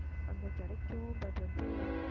அங்க கிடைக்கும் but வந்து